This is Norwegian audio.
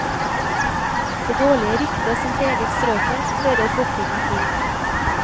Det dårlige ryktet som preget strøket, hører fortiden til.